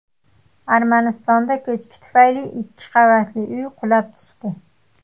Armanistonda ko‘chki tufayli ikki qavatli uy qulab tushdi.